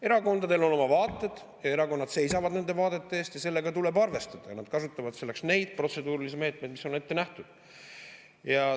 Erakondadel on oma vaated ja erakonnad seisavad nende vaadete eest, sellega tuleb arvestada, ja selleks kasutavad nad neid protseduurilisi meetmeid, mis on ette nähtud.